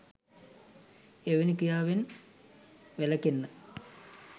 එවැනි ක්‍රියා වෙන් වැළකෙන්න